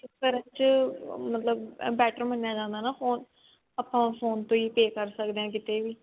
ਕਰਨ ਚ better ਮੰਨਿਆ ਜਾਂਦਾ ਨਾ phone ਆਪਾਂ ਉਹ phone ਤੋਂ ਹੀ pay ਕਰ ਸਕਦੇ ਹਾਂ ਕਿਤੇ ਵੀ